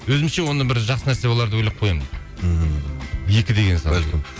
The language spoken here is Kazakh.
өзімше оны бір жақсы нәрсе болар деп ойлап қоямын ммм екі деген санды бәлкім